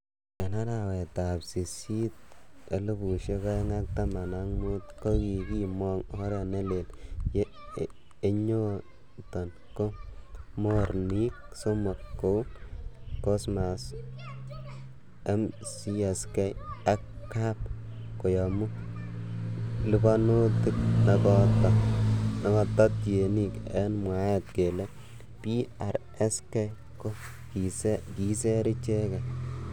En arawetab Sisit 2015,Ko kikimong oret neleel ye enyoton ko mornik somok kou ;Cmos, MCSK ak KAMP koyumi liponutik nekoto tienik en mwaet kele PRSK Ko kiser icheget.